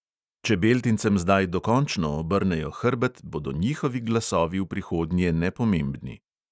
Če beltincem zdaj dokončno obrnejo hrbet, bodo njihovi glasovi v prihodnje nepomembni.